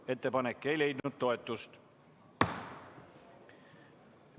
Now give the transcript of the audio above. Ettepanek ei leidnud toetust.